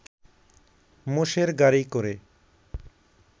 মোষের গাড়ি করে